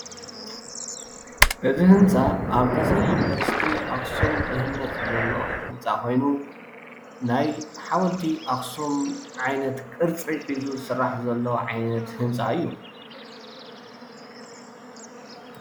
እዚ ህንፃ ኣብ ቀፅሪ ዩኒቨርስቲ ኣክሱም ዝህነፅ ዘሎ ህንፃ ኮይኑ ናይ ሓወልቲ ኣክሱም ዓይነት ቅርፂ ሒዙ ዝስራሕ ዘሎ ዓይነት ህንፃ እዩ፡፡